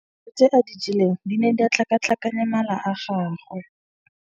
Dijô tse a di jeleng di ne di tlhakatlhakanya mala a gagwe.